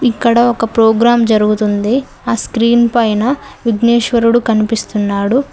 ఇక్కడ ఒక ప్రోగ్రాం జరుగుతుంది ఆ స్క్రీన్ పైన విఘ్నేశ్వరుడు కనిపిస్తున్నాడు.